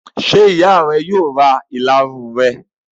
Ṣé ìyá rẹ yóò ra ìlarun rẹ?